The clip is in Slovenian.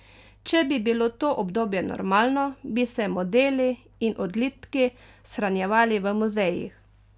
Če bi bilo to obdobje normalno, bi se modeli in odlitki shranjevali v muzejih.